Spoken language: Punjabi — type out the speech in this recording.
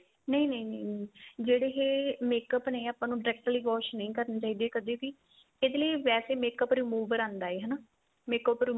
ਨਹੀਂ ਨਹੀਂ ਨਹੀਂ ਜਿਹੜੇ ਇਹ makeup ਨੇ ਆਪਾਂ ਨੂੰ directly wash ਨਹੀਂ ਕਰਨੇ ਚਾਹੀਦੇ ਕਦੇ ਵੀ ਇਹਦੇ ਲਈ ਵੈਸੇ makeup remover ਆਂਦਾ ਏ ਹਨਾ makeup